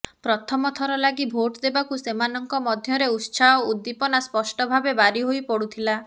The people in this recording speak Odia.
ପ୍ରଥମ ଥର ଲାଗି ଭୋଟ ଦେବାକୁ ସେମାନଙ୍କ ମଧ୍ୟରେ ଉତ୍ସାହ ଉଦ୍ଦିପନା ସ୍ପଷ୍ଟ ଭାବେ ବାରି ହୋଇ ପଡୁଥିଲା